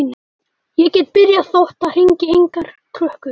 Ég get byrjað þótt það hringi engar klukkur.